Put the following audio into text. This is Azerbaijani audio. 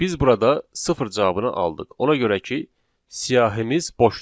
Biz burada sıfır cavabını aldıq, ona görə ki, siyahımız boşdur.